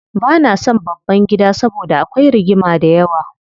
Bana son babban gida saboda akwai rigima dayawa.